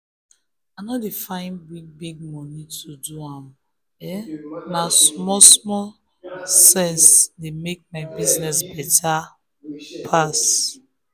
i no dey find big-big money to do am na small small sense dey make my business better pass.